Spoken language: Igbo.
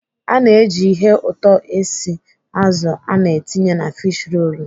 Ana eji ihe ụtọ esi azụ ana etinye na fish rolu.